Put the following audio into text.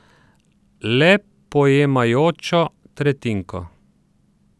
Le pojemajočo tretjinko.